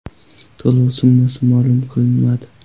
To‘lov summasi ma’lum qilinmadi.